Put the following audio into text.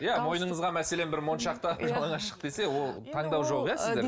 иә мойныңызға мәселен бір моншақ тағып жалаңаш шық десе ол таңдау жоқ